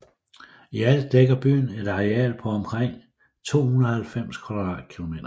I alt dækker byen et areal på omkring 290 km²